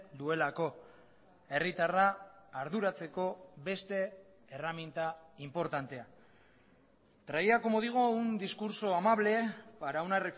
duelako herritarra arduratzeko beste erreminta inportantea traía como digo un discurso amable para una